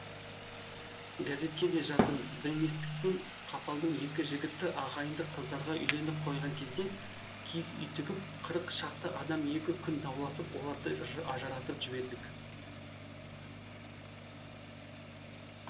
газетке де жаздым білместікпен қапалу екі жігітті ағайынды қыздарға үйленіп қойған кезде киіз үй тігіп қырық шақты адам екі күн дауласып оларды ажыратып жібердік